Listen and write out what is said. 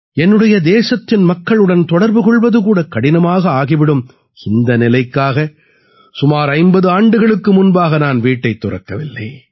என்னுடைய தேசத்தின் மக்களுடன் தொடர்பு கொள்வது கூட கடினமாக ஆகிவிடும் இந்த நிலைக்காக சுமார் 50 ஆண்டுகளுக்கு முன்பாக நான் வீட்டைத் துறக்கவில்லை